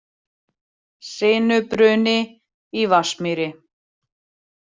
Sinubruni í Vatnsmýri